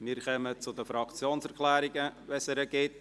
Wir kommen zu den Fraktionserklärungen, sofern es solche gibt.